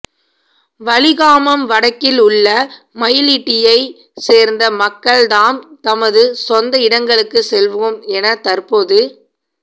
வலிகாமம் வடக்கில் உள்ள மயிலிட்டியைச் சேர்ந்த மக்கள் தாம் தமது சொந்த இடங்களுக்குச் செல்வோம் என தற்போது